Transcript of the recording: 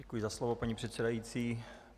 Děkuji za slovo, paní předsedající.